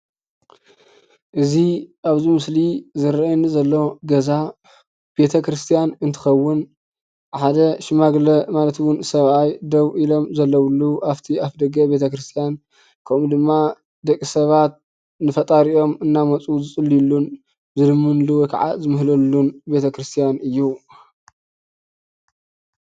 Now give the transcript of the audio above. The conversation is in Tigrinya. እዚ ኣብዚ ምስሊ ዝረአየኒ ዘሎ ገዛ ቤተክርስትያን እንትኸውን ሓደ ሽማግለ ማለትውን ሰብኣይ ደው ኢሎም ዘለውሉ ኣብቲ ኣፍ ደገ ቤተክርስትያን ከምኡ ድማ ደቂ ሰባት ንፈጣሪኦም እንዳመፁ ዝፅልዩሉ ን፣ ዝልምንሉ ወይከዓ ዝምህለልሉን ቤተክርስትያን እዩ፡፡